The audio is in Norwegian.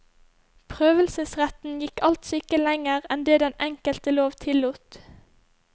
Prøvelseretten gikk altså ikke lenger enn det den enkelte lov tillot.